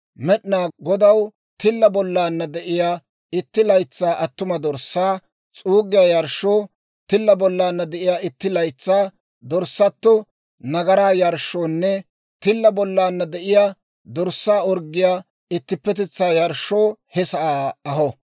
Med'inaa Godaw tilla bollana de'iyaa itti laytsaa attuma dorssaa s'uuggiyaa yarshshoo, tilla bollana de'iyaa itti laytsaa dorssato nagaraa yarshshoonne tilla bollana de'iyaa dorssaa orggiyaa ittippetetsaa yarshshoo he sa'aa aho.